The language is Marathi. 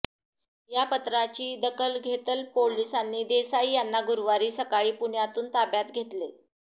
या पत्राची दखल घेतल पोलिसांनी देसाई यांना गुरुवारी सकाळी पुण्यातून ताब्यात घेतले